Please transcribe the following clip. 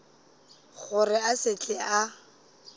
gore a se tle a